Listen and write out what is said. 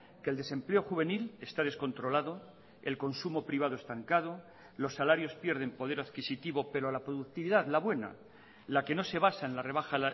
que el desempleo juvenil está descontrolado el consumo privado estancado los salarios pierden poder adquisitivo pero la productividad la buena la que no se basa en la rebaja